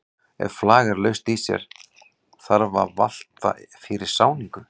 Ef flag er laust í sér þarf að valta fyrir sáningu.